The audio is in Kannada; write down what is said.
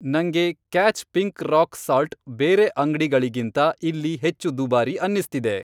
ನಂಗೆ ಕ್ಯಾಚ್ ಪಿಂಕ್ ರಾಕ್ ಸಾಲ್ಟ್ ಬೇರೆ ಅಂಗ್ಡಿಗಳಿಗಿಂತ ಇಲ್ಲಿ ಹೆಚ್ಚು ದುಬಾರಿ ಅನ್ನಿಸ್ತಿದೆ.